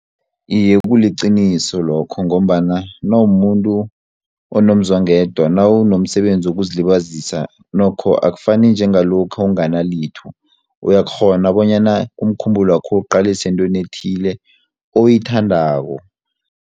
Iye, kuliqiniso lokho ngombana nawumuntu onomzwangedwa nawunomsebenzi wokuzilibazisa nokho akufani njengalokha unganalitho uyakghona bonyana umkhumbulo wakho uwuqalise entweni ethile oyithandako.